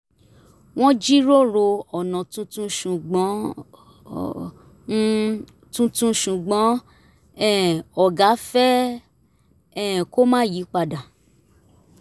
wọ́n jíròrò ọ̀nà tuntun ṣùgbọ́n um tuntun ṣùgbọ́n um ọ̀gá fẹ́ um kó má yí padà